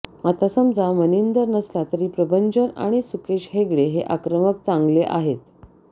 आता समजा मनिंदर नसला तरी प्रभंजन आणि सुकेश हेगडे हे आक्रमक चांगले आहेत